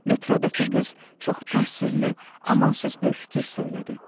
Metroddakı qız çox təsirli, amansız bir fikir söylədi.